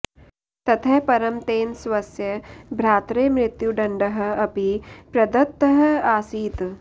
ततः परं तेन स्वस्य भ्रात्रे मृत्युदण्डः अपि प्रदत्तः आसीत्